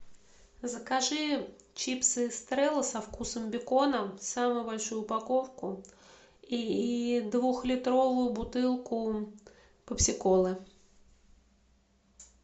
закажи чипсы эстрелла со вкусом бекона самую большую упаковку и двухлитровую бутылку пепси колы